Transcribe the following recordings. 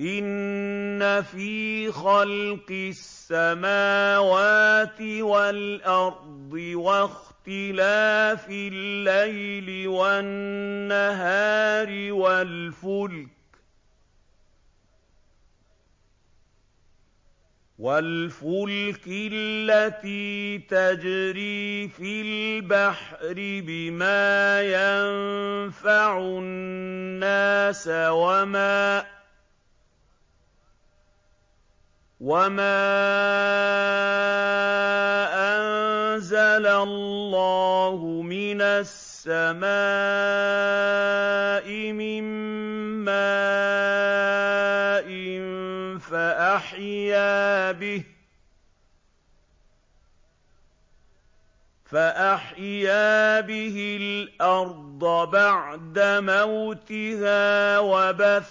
إِنَّ فِي خَلْقِ السَّمَاوَاتِ وَالْأَرْضِ وَاخْتِلَافِ اللَّيْلِ وَالنَّهَارِ وَالْفُلْكِ الَّتِي تَجْرِي فِي الْبَحْرِ بِمَا يَنفَعُ النَّاسَ وَمَا أَنزَلَ اللَّهُ مِنَ السَّمَاءِ مِن مَّاءٍ فَأَحْيَا بِهِ الْأَرْضَ بَعْدَ مَوْتِهَا وَبَثَّ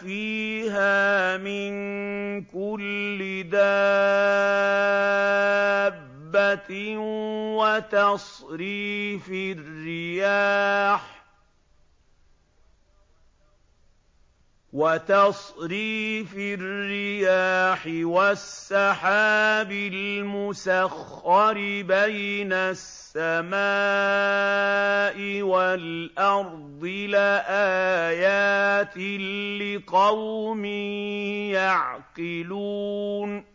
فِيهَا مِن كُلِّ دَابَّةٍ وَتَصْرِيفِ الرِّيَاحِ وَالسَّحَابِ الْمُسَخَّرِ بَيْنَ السَّمَاءِ وَالْأَرْضِ لَآيَاتٍ لِّقَوْمٍ يَعْقِلُونَ